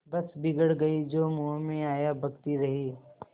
बस बिगड़ गयीं जो मुँह में आया बकती रहीं